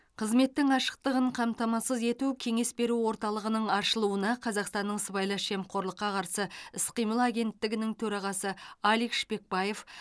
қызметтің ашықтығын қамтамасыз ету кеңес беру орталығының ашылуына қазақстанның сыбайлас жемқорлыққа қарсы іс қимыл агенттігінің төрағасы алик шпекбаев